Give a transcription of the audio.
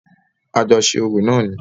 A jọ ṣe orò náà ni.